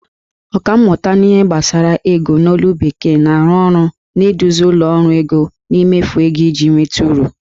Ọkammụta n'ihe gbasara ego. n'olu bekee, na-arụ ọrụ n'ịduzi ụlọ ọrụ ego n'imefu ego iji nweta uru